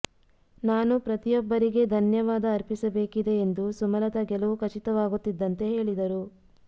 ನಾನು ಪ್ರತಿಯೊಬ್ಬರಿಗೆ ಧನ್ಯವಾದ ಅರ್ಪಿಸಬೇಕಿದೆ ಎಂದು ಸುಮಲತಾ ಗೆಲುವು ಖಚಿತವಾಗುತ್ತಿದ್ದಂತೆ ಹೇಳಿದರು